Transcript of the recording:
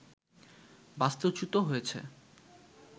বাস্তু-চ্যুত হয়েছে